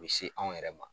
U bɛ se anw yɛrɛ ma